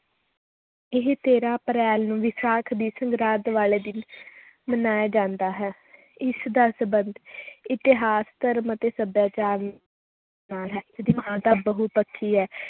ਇਹ ਤੇਰਾਂ ਅਪ੍ਰੈਲ ਨੂੰ ਵਿਸਾਖ ਦੀ ਸੰਗਰਾਂਦ ਵਾਲੇ ਦਿਨ ਮਨਾਇਆ ਜਾਂਦਾ ਹੈ ਇਸ ਦਾ ਸੰਬੰਧ ਇਤਿਹਾਸ, ਧਰਮ ਅਤੇ ਸਭਿਆਚਾਰ ਨਾਲ ਹੈ ਬਹੁਪੱਖੀ ਹੈ